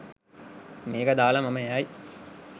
මේක දාලා මම යයි